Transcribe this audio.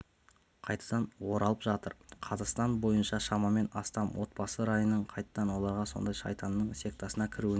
қайтадан оралып жатыр қазақстан бойынша шамамен астам отбасы райынан қайтты олардың сондай шайтанның сектасына кіруіне